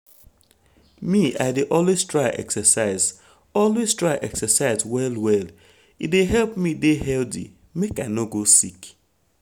me i dey always try exercise always try exercise well well e dey help me dey healthy make i no go sick.